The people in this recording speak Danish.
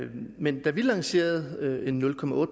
men da vi lancerede en nul